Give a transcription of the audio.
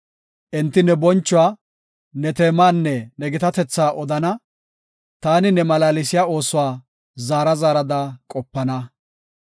Enti ne bonchuwa, ne teemaanne ne gitatetha odana. Taani ne malaalsiya oosuwa zaara zaarada qopana.